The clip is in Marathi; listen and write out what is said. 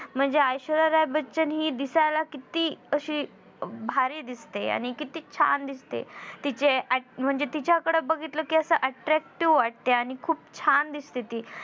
म्हणजे ऐश्वर्या बच्चन हि दिसायला किती अशी अं भारी दिसते. आणि किती छान दिसते तिचे अट म्हणजे तिच्याकड बघतील कि असं attractive वाटते आणि खूप छान दिसते ती